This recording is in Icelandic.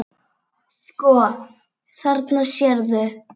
Sko, þarna sérðu.